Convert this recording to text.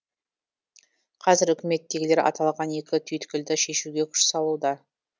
қазір үкіметтегілер аталған екі түйткілді шешуге күш салуда